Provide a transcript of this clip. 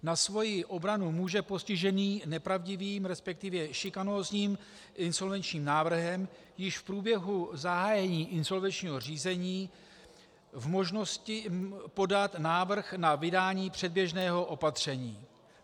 Na svoji obranu může postižený nepravdivým, respektive šikanózním insolvenčním návrhem již v průběhu zahájení insolvenčního řízení v možnosti podat návrh na vydání předběžného opatření (?).